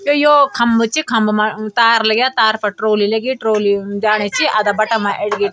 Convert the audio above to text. त योक खंबा च खंबा मा तार लग्या तार फर ट्रॉली लगी ट्रॉली जाणी च अदाबटा मा एडगे।